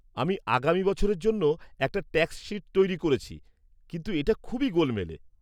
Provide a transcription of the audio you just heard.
আমি আগামী বছরের জন্য একটা ট্যাক্স শীট তৈরি করছি, কিন্তু এটা খুবই গোলমেলে।